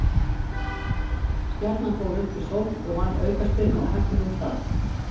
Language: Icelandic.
Stjarnan fór upp í sókn og vann aukaspyrnu á hættulegum stað.